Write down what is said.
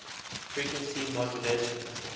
frequency modulation